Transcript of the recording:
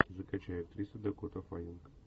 закачай актриса дакота фаннинг